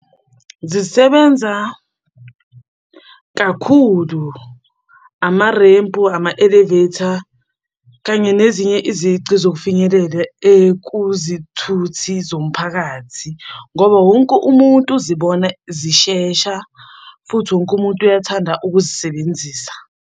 Zisebenza kakhulu amarempu, ama-elevator, kanye nezinye izici zokufinyelela ekuzithuthi zomphakathi, ngoba wonke umuntu uzibona zishesha futhi wonke umuntu uyathanda ukuzisebenzisa.